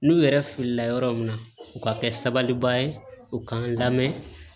N'u yɛrɛ filila yɔrɔ min na u ka kɛ sabaliba ye u k'an lamɛn